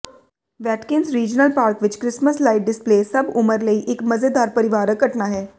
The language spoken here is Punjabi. ਵੈਟਕਿਨਸ ਰੀਜਨਲ ਪਾਰਕ ਵਿਚ ਕ੍ਰਿਸਮਸ ਲਾਈਟ ਡਿਸਪਲੇਅ ਸਭ ਉਮਰ ਲਈ ਇਕ ਮਜ਼ੇਦਾਰ ਪਰਿਵਾਰਕ ਘਟਨਾ ਹੈ